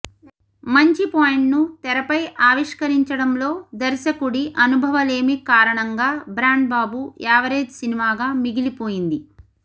మంచి పాయింట్ను తెరపై ఆవిష్కరించడంలో దర్శకుడి అనుభవలేమి కారణంగా బ్రాండ్బాబు యావరేజ్ సినిమాగా మిగిలిపోయింది